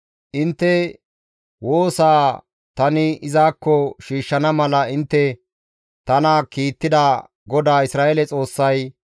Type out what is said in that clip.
«Intte woosaa tani izakko shiishshana mala intte tana kiittida GODAA Isra7eele Xoossay,